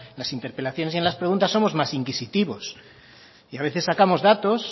las interpelaciones y en las preguntas somos más inquisitivos y a veces sacamos datos